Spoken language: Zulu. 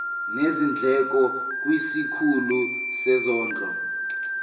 nezindleko kwisikhulu sezondlo